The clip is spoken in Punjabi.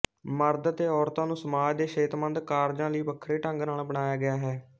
ਮਰਦ ਅਤੇ ਔਰਤਾਂ ਨੂੰ ਸਮਾਜ ਦੇ ਸਿਹਤਮੰਦ ਕਾਰਜਾਂ ਲਈ ਵੱਖਰੇ ਢੰਗ ਨਾਲ ਬਣਾਇਆ ਗਿਆ ਹੈ